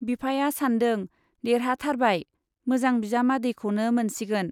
बिफाया सानदों-देरहाथारबाय, मोजां बिजामादैखौनो मोनसिगोन।